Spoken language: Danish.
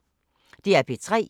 DR P3